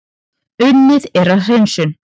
Unnið er að hreinsun